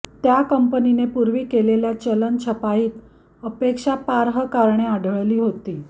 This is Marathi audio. त्या कंपनीने पूर्वी केलेल्या चलन छपाईत आक्षेपार्ह कारणे आढळली होती